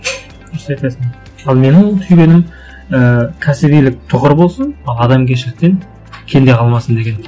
дұрыс айтасың ал менің түйгенім і кәсібилік тұғыр болсын а адамгершіліктен кенде қалмасын деген